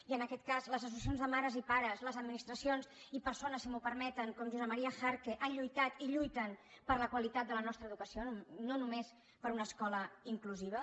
i en aquest cas les associacions de mares i pares les administracions i persones si m’ho permeten com josep maria jarque han lluitat i lluiten per la qualitat de la nostra educació no només per una escola inclusiva